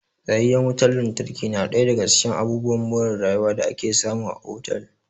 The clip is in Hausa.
Tsayayyen wutan lantarki na ɗaya daga cikin abubuwan more rayuwa da ake samu a otal